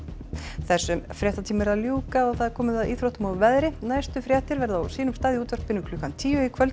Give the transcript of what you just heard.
þessum fréttatíma er að ljúka og það er komið að íþróttum og veðri næstu fréttir verða á sínum stað í útvarpi klukkan tíu í kvöld